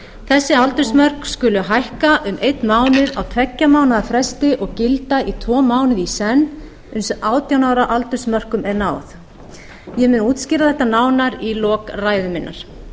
þessi aldursmörk skulu hækka um einn mánuð á tveggja fresti og gilda í tvo mánuði í senn uns átján ára aldursmörkum er náð ég mun útskýra þetta nánar í lok ræðu minnar